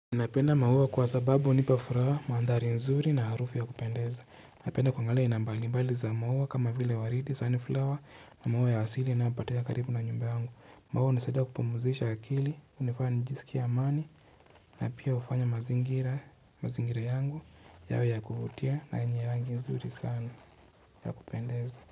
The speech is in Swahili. Ninapenda maua kwa sababu hunipa furaha, maandhari nzuri na harufu ya kupendeza. Ninapenda kuangalia aina mbali mbali za maua kama vile waridi, sun flower na maua ya asili unaopatea karibu na nyumba yangu. Maua unisadia kupumuzisha akili, unifanya njisikia amani na pia hufanya mazingira mazingira yangu yawe ya kuvutia na yenye rangi nzuri sana ya kupendeza.